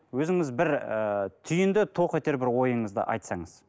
өзіңіз бір ыыы түйінді тоқетер бір ойыңызды айтсаңыз